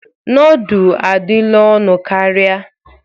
Nọọdụ adịla ọnụ karịa.